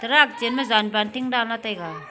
Tarak chenma zian banting danla taiga .